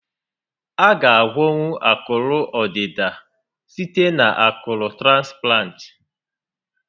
A ga a gwọnwu akụrụ ọdịda site na akụrụ transplant